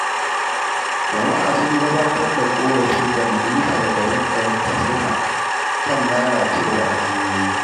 Jama’a sun gabatar da ƙorafi ga majalisar garin Katsina kan lalacewar hanyoyi.